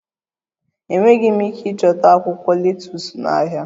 Enweghị m ike ịchọta akwụkwọ letus n'ahịa